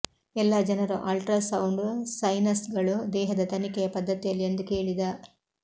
ಎಲ್ಲಾ ಜನರು ಅಲ್ಟ್ರಾಸೌಂಡ್ ಸೈನಸ್ಗಳು ದೇಹದ ತನಿಖೆಯ ಪದ್ದತಿಯಲ್ಲಿ ಎಂದು ಕೇಳಿದ